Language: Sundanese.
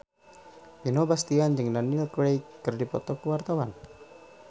Vino Bastian jeung Daniel Craig keur dipoto ku wartawan